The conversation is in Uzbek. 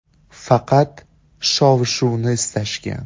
Faqat shov-shuvni istashgan.